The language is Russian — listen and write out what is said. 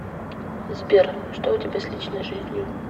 сбер что у тебя с личной жизнью